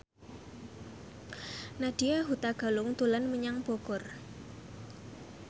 Nadya Hutagalung dolan menyang Bogor